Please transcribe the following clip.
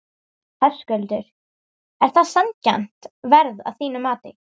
Höskuldur: Er það sanngjarnt verð að þínu mati?